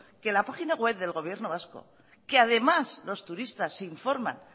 que la página web del gobierno vasco que además los turistas se informan